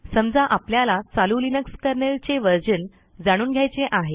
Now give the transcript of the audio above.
समजा आपल्याला चालू लिनक्स kernelचे व्हर्शन जाणून घ्यायचे आहे